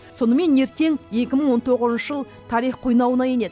сонымен ертең екі мың он тоғызыншы жыл тарих қойнауына енеді